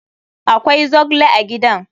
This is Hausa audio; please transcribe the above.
Akwai zogle a gidan?